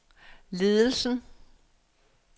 ledelsen